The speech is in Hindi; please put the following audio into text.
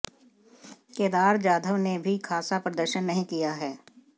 केदार जाधव ने भी खासा प्रदर्शन नहीं किया है